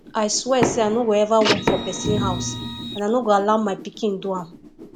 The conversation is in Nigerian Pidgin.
i swear say i no go ever work for person house and i no go allow my pikin do am